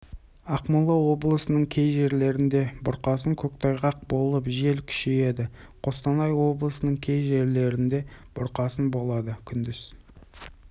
ақмола облысының кей жерлерінде бұрқасын көктайғақ болып жел күшейеді қостанай облысының кей жерлерінде бұрқасын болады күндіз